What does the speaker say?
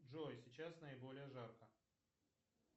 джой сейчас наиболее жарко